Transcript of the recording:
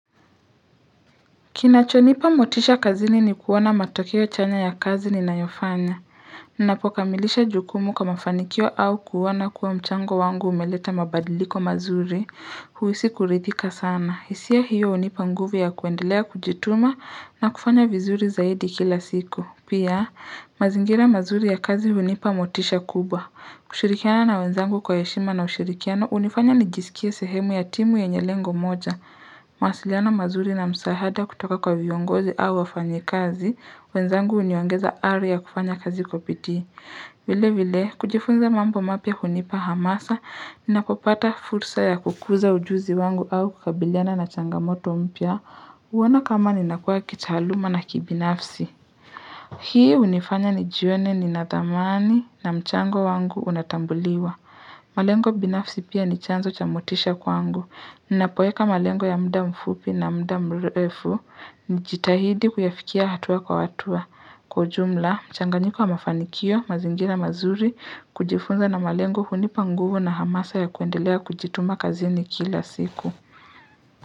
Kinachonipa motisha kazini ni kuona matokeo chanya ya kazi ninayofanya. Ninapokamilisha jukumu kama fanikio au kuona kuwa mchango wangu umeleta mabadiliko mazuri. Huisi kuridhika sana. Hisia hiyo unipa nguvu ya kuendelea kujituma na kufanya vizuri zaidi kila siku Pia, mazingira mazuri ya kazi hunipa motisha kubwa. Kushirikiana na wenzangu kwa heshima na ushirikiana unifanya nijisikie sehemu ya timu yenye lengo moja. Mawasiliano mazuri na msahada kutoka kwa viongozi au wafanyi kazi wenzangu uniongeza ari ya kufanya kazi kwa piti vile vile, kujifunza mambo mapya hunipa hamasa Nnapopata fursa ya kukuza ujuzi wangu au kukabiliana na changamoto mpya huona kama ninakua kitaaluma na kibinafsi Hii unifanya ni jione ninathamani na mchango wangu unatambuliwa malengo binafsi pia ni chanzo chamotisha kwangu Ninapoeka malengo ya mda mfupi na mda mrefu. Nijitahidi kuyafikia hatua kwa watua. Kwa ujumla, mchanganyiko wa mafanikio, mazingira mazuri, kujifunza na malengo hunipanguvu na hamasa ya kuendelea kujituma kazini kila siku.